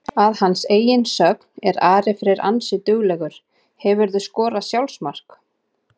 Að hans eigin sögn er Ari Freyr ansi duglegur Hefurðu skorað sjálfsmark?